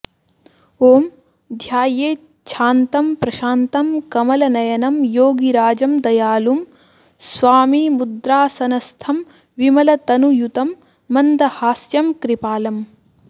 ॐ ध्यायेच्छान्तं प्रशान्तं कमलनयनं योगिराजं दयालुं स्वामी मुद्रासनस्थं विमलतनुयुतं मन्दहास्यं कृपालम्